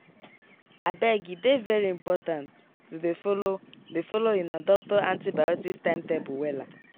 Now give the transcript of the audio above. abege dey very important to dey follow dey follow una doctor antibiotics timetable wella.